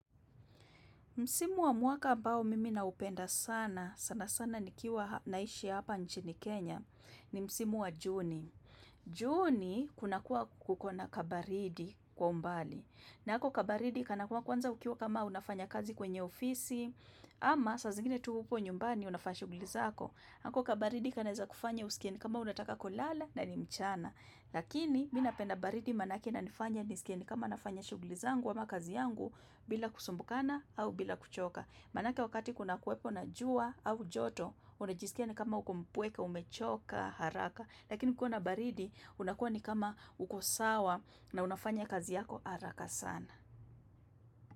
Msimu wa mwaka ambao mimi na upenda sana, sana sana ni kiwa naishi hapa nchini Kenya, ni Msimu wa Juni. Juni kuna kuwa kuko na kabaridi kwa umbali. Na hako kabaridi kanakuwa kwanza ukiwa kama unafanya kazi kwenye ofisi, ama saa zingine tu huko nyumbani unafanya shughuli zako. Hako kabaridi kanaweza kufanya usikie ni kama unataka kulala na ni mchana. Lakini mimi napenda baridi manake ina nifanya nisikia ni kama nafanya shughuli zangu ama kazi yangu bila kusumbukana au bila kuchoka Manake wakati kuna kwepo na jua au joto unajisikia ni kama ukompweka, umechoka, haraka Lakini kukiwa na baridi unakuwa ni kama uko sawa na unafanya kazi yako haraka sana.